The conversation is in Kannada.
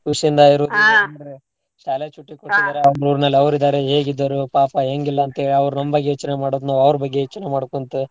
ಖುಷಿ ಇಂದಾ ಇರುದು ಅಂದ್ರ ಶಾಲ್ಯಾಗ छुट्टी ಕೊಟ್ಟಿದಾರ ಅವ್ರ್ ಊರ್ನಲ್ ಅವ್ರ್ ಇದ್ದಾರೆ ಹೇಗ್ ಇದ್ದಾರೋ ಪಾಪ ಹೆಂಗಿಲ್ಲ ಅಂತೇಳಿ ಅವ್ರ್ ನಮ್ಮ್ ಬಗ್ಗೆ ಯೋಚ್ನೆ ಮಾಡೋದ್ ನಾವ್ ಅವ್ರ ಬಗ್ಗೆ ಯೋಚ್ನೆ ಮಾಡ್ಕೊಂತ.